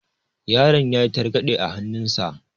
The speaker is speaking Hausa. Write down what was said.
Yaron yayi targaɗe a hannun sa.